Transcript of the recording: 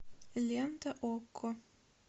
лента окко